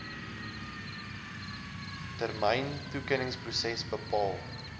termyn toekenningsproses bepaal